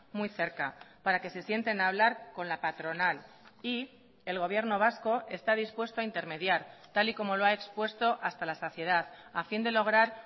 muy cerca para que se sienten a hablar con la patronal y el gobierno vasco está dispuesto a intermediar tal y como lo ha expuesto hasta la saciedad a fin de lograr